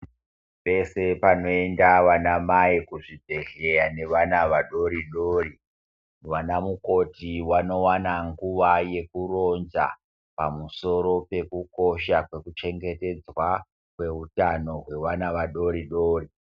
Pese panoenda vana mai muzvibhedhlera nevana vadodori vanamukoti vanowana nguva yekuronza pamusoro pekukosha peku chengetedzwa kwevana vadodori dori.